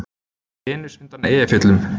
Venus undan Eyjafjöllum